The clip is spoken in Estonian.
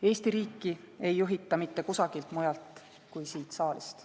Eesti riiki ei juhita mitte kusagilt mujalt kui siit saalist.